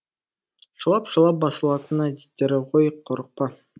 шулап шулап басылатын әдеттері ғой қорықпа